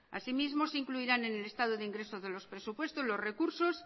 así mismo se incluirán en el estado de ingreso de los presupuestos los recursos